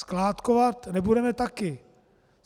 Skládkovat nebudeme také.